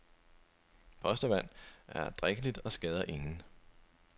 Postevand er drikkeligt og skader ingen.